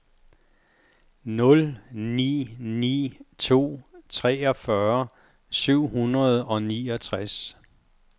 nul ni ni to treogfyrre syv hundrede og niogtres